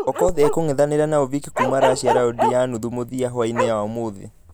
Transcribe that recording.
Okoth akũngethanĩra na ovik kuuma russia raundi ya nuthu mũthia hwainĩ ya ũmũthĩ .